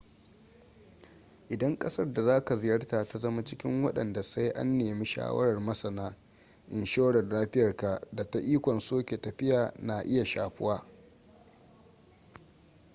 idan ƙasar da za ka ziyarta ta zama cikin wadanda sai an nemi shawarar masana inshorar lafiyarka da ta ikon soke tafiya na iya shafuwa